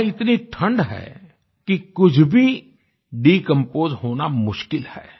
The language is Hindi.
वहां इतनी ठण्ड है कि कुछ भी डिकंपोज होना मुश्किल है